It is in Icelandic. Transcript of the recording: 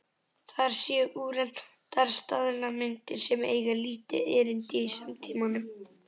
Þær séu úreltar staðalmyndir sem eigi lítið erindi í samtímanum.